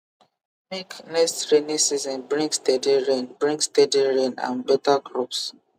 make next rainy season bring steady rain bring steady rain and better crops